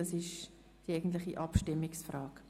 Das ist die eigentliche Abstimmungsfrage.